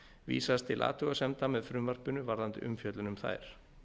vísast til athugasemda með frumvarpinu varðandi umfjöllun um þær